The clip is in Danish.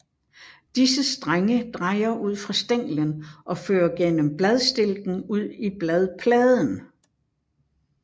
Disse strenge drejer ud fra stænglen og fører gennem bladstilken ud i bladpladen